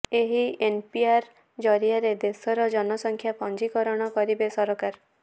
ଏହି ଏନିପିଆର ଜରିଆରେ ଦେଶର ଜନସଂଖ୍ୟା ପଞ୍ଜିକରଣ କରିବେ ସରକାର